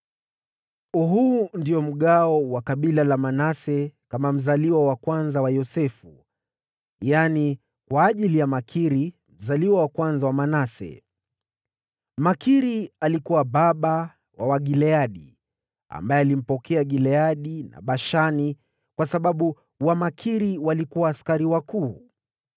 Huu ndio mgawo wa kabila la Manase kama mzaliwa wa kwanza wa Yosefu, yaani kwa ajili ya Makiri, mzaliwa wa kwanza wa Manase. Makiri alikuwa baba wa Wagileadi, ambao walipokea Gileadi na Bashani kwa sababu Wamakiri walikuwa askari wakuu.